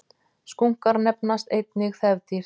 Skunkar nefnast einnig þefdýr.